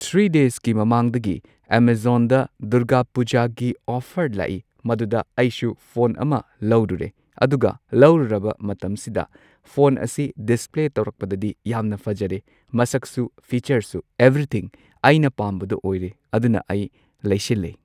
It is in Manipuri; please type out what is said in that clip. ꯊ꯭ꯔꯤ ꯗꯦꯁꯀꯤ ꯃꯃꯥꯡꯗꯒꯤ ꯑꯦꯃꯥꯖꯣꯟꯗ ꯗꯨꯔꯒꯥ ꯄꯨꯖꯥꯒꯤ ꯑꯣꯐꯔ ꯂꯥꯛꯏ꯫ ꯃꯗꯨꯗ ꯑꯩꯁꯨ ꯐꯣꯟ ꯑꯃ ꯂꯧꯔꯨꯔꯦ, ꯑꯗꯨꯒ ꯂꯧꯔꯨꯔꯕ ꯃꯇꯝꯁꯤꯗ ꯐꯣꯟ ꯑꯁꯤ ꯗꯤꯁꯄ꯭ꯂꯦ ꯇꯧꯔꯛꯄꯗꯗꯤ ꯌꯥꯝꯅ ꯐꯖꯔꯦ ꯃꯁꯛꯁꯨ ꯐꯤꯆꯔꯁꯨ ꯑꯦꯚ꯭ꯔꯤꯊꯤꯡꯑꯩꯅ ꯄꯥꯝꯕꯗꯣ ꯑꯣꯏꯔꯦ ꯑꯗꯨꯅ ꯑꯩ ꯂꯩꯁꯤꯜꯂꯦ꯫